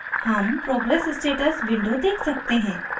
हम progress status window देख सकते हैं